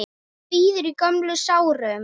Svíður í gömlum sárum.